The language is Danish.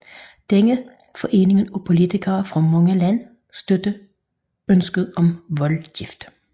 Denne forening af politikere fra mange lande støttede ønsket om voldgift